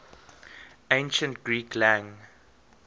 ancient greek lang